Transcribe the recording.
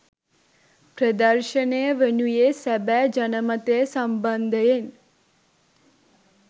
ප්‍රදර්ශනය වනුයේ සැබෑ ජනමතය සම්බන්ධයෙන්